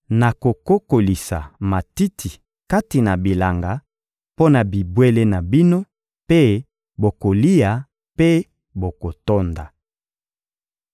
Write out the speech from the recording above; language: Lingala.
Nakokolisa matiti kati na bilanga mpo na bibwele na bino mpe bokolia mpe bokotonda.